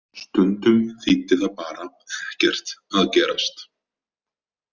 Stundum þýddi það bara Ekkert að gerast.